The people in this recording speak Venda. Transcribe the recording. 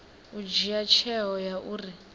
u dzhia tsheo ya uri